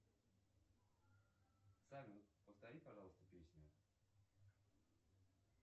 салют повтори пожалуйста песню